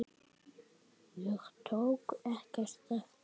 Ég tók ekkert eftir þeim.